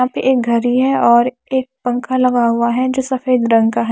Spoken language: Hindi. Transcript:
यहां पे एक घरी है और एक पंखा लगा हुआ है जो सफेद रंग का है।